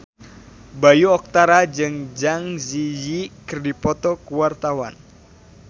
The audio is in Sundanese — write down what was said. Bayu Octara jeung Zang Zi Yi keur dipoto ku wartawan